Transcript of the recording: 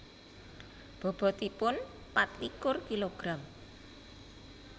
Bobotipun patlikur kilogram